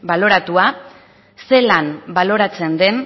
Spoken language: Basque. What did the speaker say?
baloratua zelan baloratzen den